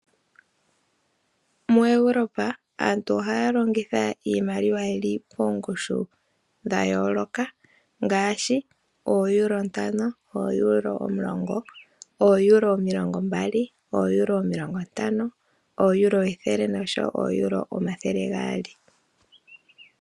MuEuropa aantu ohaya longitha iimaliwa yi li poongushu dha yooloka ngaashi ooeuro ntano, ooeuro omulongo, ooeuro omilongombali, ooeuro omilongontano, ooeuro ethele nooeuro omathele gaali.